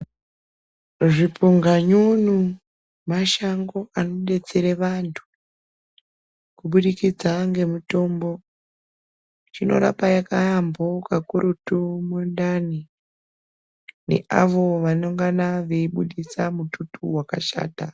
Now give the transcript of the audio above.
Zvipunganyunyu mashango anodetsera vantu kubudikidza ngemitombo. Zvinorapa yaambo kakurutu mundani neavo vanongana veibudisa mututu wakashata.